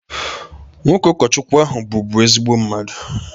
Nwoke ụkọchukwu ahụ bụbu ezigbo mmadụ